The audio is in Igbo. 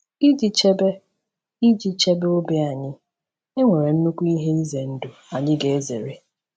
Iji chebe Iji chebe obi anyị, e nwere nnukwu ihe ize ndụ anyị ga-ezere.